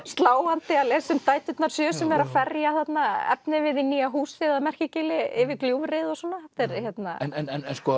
sláandi að lesa um dæturnar sjö sem eru að ferja þarna efnivið í nýja húsið að Merkigili yfir gljúfrið og svona en